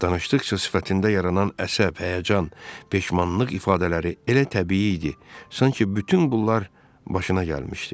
Danışdıqca sifətində yaranan əsəb, həyəcan, peşmanlıq ifadələri elə təbii idi, sanki bütün qullar başına gəlmişdi.